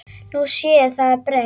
Nú sé það breytt.